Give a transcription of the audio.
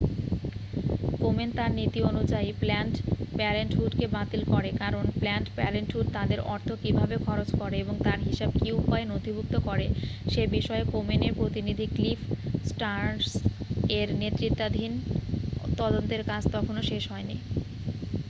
Komen তার নীতি অনুযায়ী প্ল্যানড পেরেন্টহুডকে বাতিল করে কারণ প্ল্যানড পেরেন্টহুড তাদের অর্থ কীভাবে খরচ করে এবং তার হিসাব কী উপায়ে নথিভূক্ত করে সেবিষয়ে কোমেন-এর প্রতিনিধি ক্লিফ স্টার্ন্স-এর নেতৃত্বাধীন তদন্তের কাজ তখনও শেষ হয়নি